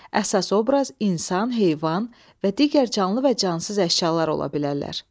Əsas obraz insan, heyvan və digər canlı və cansız əşyalar ola bilərlər.